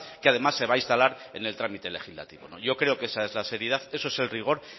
que además se va a instalar en el trámite legislativo yo creo que esa es la seriedad eso es el rigor